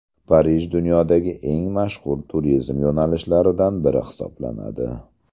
Parij dunyodagi eng mashhur turizm yo‘nalishlaridan biri hisoblanadi.